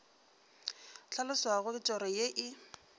hlaloswago ke toro ye e